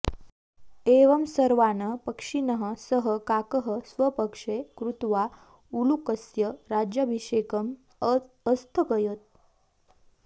एवं सर्वान् पक्षिणः सः काकः स्वपक्षे कृत्वा उलूकस्य राज्याभिषेकम् अस्थगयत्